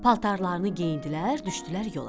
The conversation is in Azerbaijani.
Paltarlarını geyindilər, düşdülər yola.